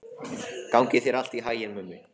Gangi þér allt í haginn, Mummi.